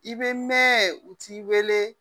I bɛ mɛn u t'i wele